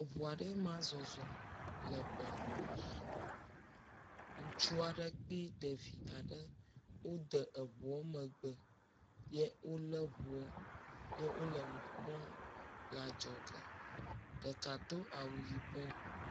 Eŋu aɖee ma zɔzɔm…, ŋutsu aɖe kple ɖevi aɖe wode eŋua megbe ye wolé ŋuɔ ye wole nu…le adzɔge, ɖeka do awu yibɔ.